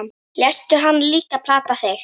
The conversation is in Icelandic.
Léstu hann líka plata þig?